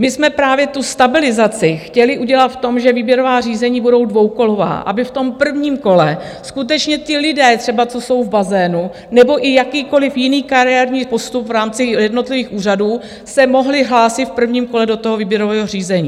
My jsme právě tu stabilizaci chtěli udělat v tom, že výběrová řízení budou dvoukolová, aby v tom prvním kole skutečně ti lidé třeba, co jsou v bazénu, nebo i jakýkoliv jiný kariérní postup v rámci jednotlivých úřadů, se mohli hlásit v prvním kole do toho výběrového řízení.